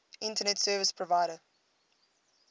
internet service provider